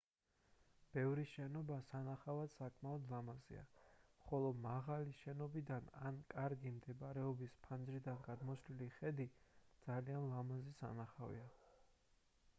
ბევრი შენობა სანახავად საკმაოდ ლამაზია ხოლო მაღალი შენობიდან ან კარგი მდებარეობის ფანჯრიდან გადმოშლილი ხედი ძალიან ლამაზი სანახავია